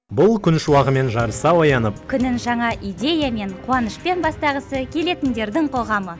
бұл күн шуағымен жарыса оянып күнін жаңа идеямен қуанышпен бастағысы келетіндердің қоғамы